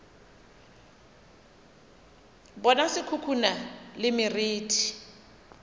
bona se khukhuna le meriti